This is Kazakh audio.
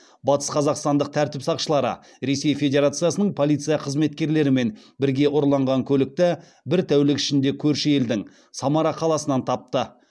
батысқазақстандық тәртіп сақшылары ресей федерациясының полиция қызметкерлерімен бірге ұрланған көлікті бір тәулік ішінде көрші елдің самара қаласынан тапты